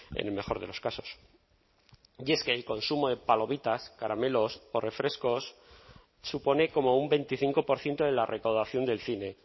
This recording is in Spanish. en el mejor de los casos y es que el consumo de palomitas caramelos o refrescos supone como un veinticinco por ciento de la recaudación del cine